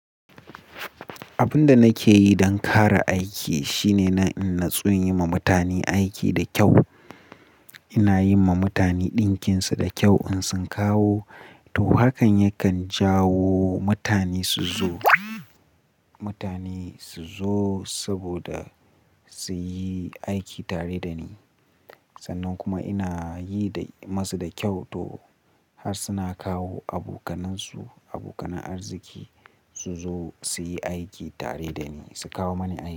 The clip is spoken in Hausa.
Abin da nake yi don ƙara aiki, shine na in na tsori yi ma mutane aiki da kyau. Ina yi ma mutane ɗinkinsu da kyau in sun kawo, to hakan yakan jawo mutane su zo, mutane su zo saboda su yi aiki tare da ni. Sannan kuma ina yi da masu da kyau to, har suna kawo abokanansu, abokan arziki su zo su yi aiki tare da ni, su kawo mani aiki.